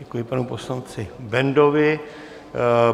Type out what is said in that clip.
Děkuji panu poslanci Bendovi.